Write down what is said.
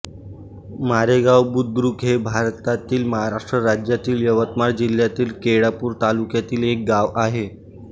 मारेगाव बुद्रुक हे भारतातील महाराष्ट्र राज्यातील यवतमाळ जिल्ह्यातील केळापूर तालुक्यातील एक गाव आहे